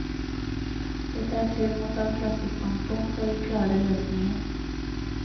Litteraturen må ta klassestandpunkt, og gi klare løsninger.